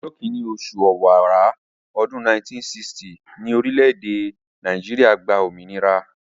Ọjọ́ kìíní oṣù ọ̀wàrà, ọdún 1960 ni orílẹ̀-èdè Nàìjíríà gba òmìnira